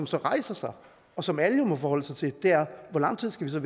så rejser sig og som alle jo må forholde sig til er hvor lang tid skal